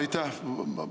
Aitäh!